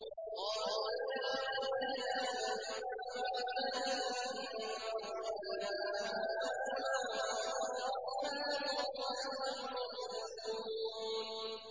قَالُوا يَا وَيْلَنَا مَن بَعَثَنَا مِن مَّرْقَدِنَا ۜۗ هَٰذَا مَا وَعَدَ الرَّحْمَٰنُ وَصَدَقَ الْمُرْسَلُونَ